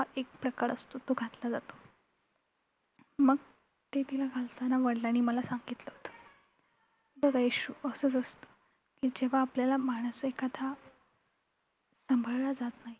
हा एक प्रकार असतो तो घातला जातो. मग ते तिला घालतानी वडिलांनी मला सांगितलं होतं. बघ वैशू असंच असतं की जेव्हा आपल्याला माणूस एखादा सांभाळत जात नाही